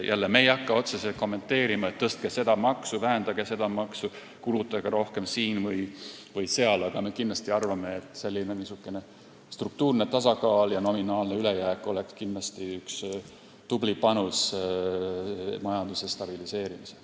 Jällegi, me ei hakka otseselt kommenteerima, et tõstke seda maksu, vähendage seda maksu või kulutage rohkem siin-seal, aga me arvame, et struktuurne tasakaal ja nominaalne ülejääk oleks kindlasti tubli panus majanduse stabiliseerimisel.